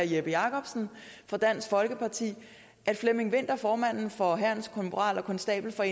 jeppe jakobsen fra dansk folkeparti at flemming vinther formanden for hærens konstabel og